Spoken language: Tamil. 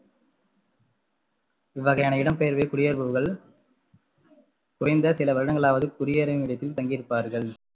இவ்வகையான இடம்பெயர்வில் குடியேறுபவர்கள் குறைந்த சில வருடங்களாவது குடியேறும் இடத்தில் தங்கி இருப்பார்கள்